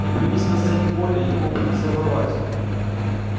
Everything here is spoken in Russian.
не появись на сцене колли ему бы несдобровать